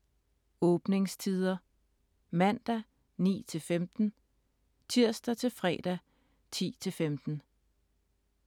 Åbningstider: Mandag: 9-15 Tirsdag-fredag: 10-15